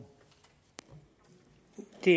de